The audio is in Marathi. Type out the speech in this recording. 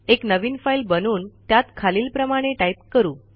एक नवीन फाईल बनवून त्यात खालीलप्रमाणे टाईप करू